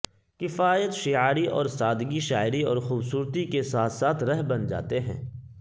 کفایت شعاری اور سادگی شاعری اور خوبصورتی کے ساتھ ساتھ رہ بن جاتے ہیں